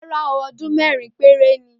Ràrá o,òdún merin pẹrẹ ni o